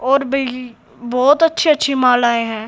और भी बहोत अच्छी अच्छी मालाएं हैं।